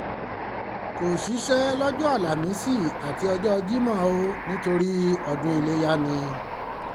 kò ṣíṣẹ́ lọ́jọ́ àlàmísì àti ọjọ́ jímọ̀ o nítorí ọdún iléyá ni